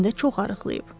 də çox arıqlayıb.